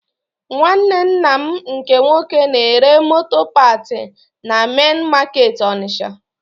Nwanne nna m nke nwoke na-ere moto paat na mein makeetị Onitsha